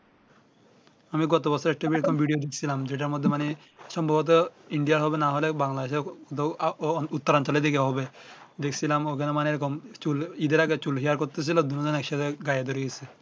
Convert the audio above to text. আমি গত বছরে ঢুকছিলাম যেটার মধ্যে মানে সম্ভবত ইন্ডিয়ার হবে না হলে বাংলাদের দো আ উত্তরা আঞ্চলের দিকে হবে দেখছিলাম ঐ খানে মানে এই রকম চুল ঈদ এর আগে চুল হেয়ার করতেছিলো দুই জনে এক সাথে গায়ে ধরে গেছে